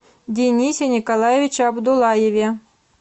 денисе николаевиче абдуллаеве